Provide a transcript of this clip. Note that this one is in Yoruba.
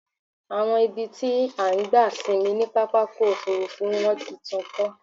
Àwọn ibi tí a ti ń gba sinmi ni pápákọ̀ òfúrúfú wọ́n ti tún kọ́.